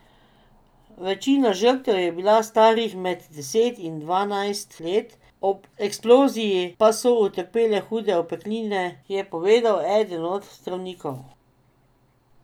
Večina žrtev je bila starih med deset in dvanajst let, ob eksploziji pa so utrpele hude opekline, je povedal eden od zdravnikov.